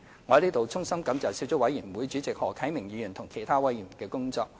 我在此衷心感謝小組委員會主席何啟明議員和其他委員的工作。